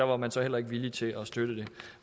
var man så heller ikke villig til at støtte det